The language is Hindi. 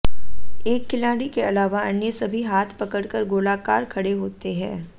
एक खिलाड़ी के अलावा अन्य सभी हाथ पकड़कर गोलाकार खड़े होते हैं